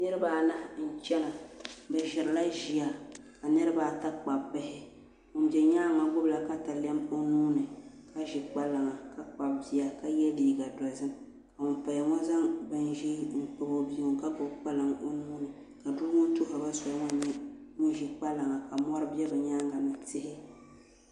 Niraba anahi n chɛna bi ʒirila ʒiya ka niraba ata kpabi bihi ŋun bɛ nyaangi ŋɔ gbubila katalɛm o nuuni ka ʒi kpalaŋa ka kpabi bia ka yɛ liiga dozim ka ŋun paya ŋɔ zaŋ bin ʒiɛ kpabi o bia ŋɔ ka gbubi kpalaŋ o nuuni ka doo ŋɔ tuhuriba soli na ka ʒi kpalaŋa ka mɔri bɛ bi nyaanga ni tihi